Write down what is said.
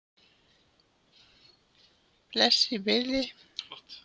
Bless í bili!